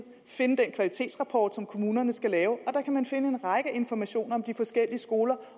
finde den kvalitetsrapport som kommunerne skal lave der kan man finde en række informationer om de forskellige skoler